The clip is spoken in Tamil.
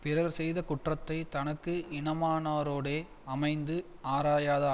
பிறர் செய்த குற்றத்தைத் தனக்கு இனமானாரோடே அமைந்து ஆராயாத